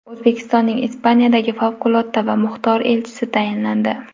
O‘zbekistonning Ispaniyadagi favqulodda va muxtor elchisi tayinlandi.